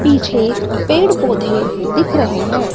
पीछे पेड़ पौधे दिख रहे हैं।